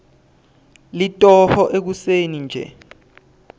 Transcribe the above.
litoho ekuseni nje